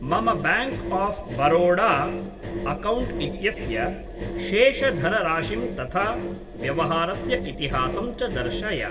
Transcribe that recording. मम bank of Baroda account इत्यस्य शेषधनराशिं तथा व्यवहारस्य इतिहासं च दर्शय।